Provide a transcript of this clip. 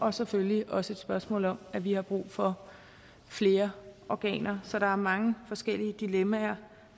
er selvfølgelig også et spørgsmål om at vi har brug for flere organer så der er mange forskellige dilemmaer